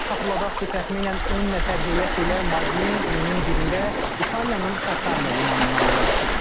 Xatırladaq ki, təxminən 10 nəfər heyət ilə Madlin iyunun 1-də İtaliyanın Kataniya limanından yola düşüb.